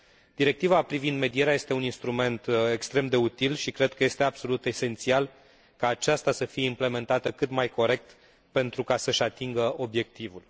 Directiva privind medierea este un instrument extrem de util și cred că este absolut esențial ca aceasta să fie implementată cât mai corect pentru ca să și atingă obiectivul.